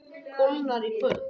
Kólnar í kvöld